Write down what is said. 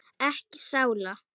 Ekki sála.